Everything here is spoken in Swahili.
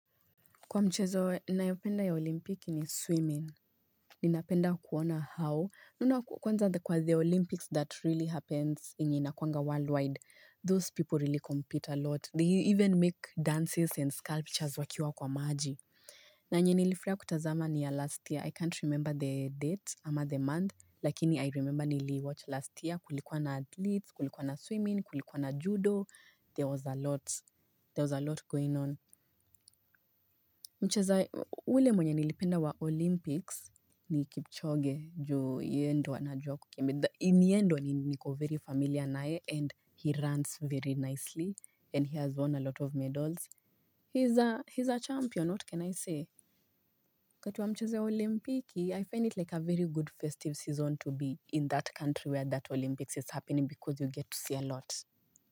Kwa mchezo, nayopenda ya olimpiki ni swimming. Ninapenda kuona how. Nuna kwanza kwa the Olympics that really happens inyina kwanga worldwide. Those people really compete a lot. They even make dances and sculptures wakiwa kwa maji. Na enye nilifurahia kutazama ni ya last year. I can't remember the date ama the month. Lakini I remember niliiwatch last year, kulikuwa na athletes, kulikuwa na swimming, kulikuwa na judo, there was a lot. There was a lot going on. Mcheza, ule mwenye nilipenda wa Olympics ni Kipchoge juu yeye ndio anajua kukimbyi. Ni ye ndio ni niko very familiar naye and he runs very nicely and he has won a lot of medals. He's a champion, what can I say? Wakati wa mchezo ya olimpiki, I find it like a very good festive season to be in that country where that Olympics is happening because you get to see a lot.